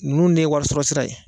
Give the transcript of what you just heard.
Ninnu de ye warisɔrɔ sira ye